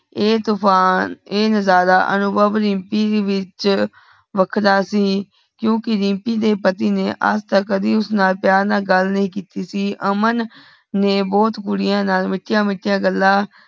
ਐ ਤੂਫ਼ਾਨ ਐ ਨਜਾਰਾ ਅਨੁਭਵ ਰੀਮਪੀ ਦੇ ਵਿਚ ਵੱਖਰਾ ਸੀ ਕਿਉਕਿ ਰੀਮਪੀ ਦੇ ਪਤੀ ਨੇ ਆਜ ਤਕ ਕੱਢੀ ਉਸਨਾਲ ਪਯਾਰ ਨਾਲ ਗੱਲ ਨਹੀਂ ਕੇਤੀ ਸੀ ਅਮਨ ਨੇ ਬਹੁਤ ਕੁੜੀਆਂ ਨਾਲ ਮਿਠੀਆਂ ਮਿਠੀਆਂ ਗੱਲਾਂ